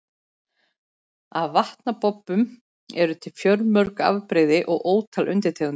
Af vatnabobbum eru til fjölmörg afbrigði og ótal undirtegundir.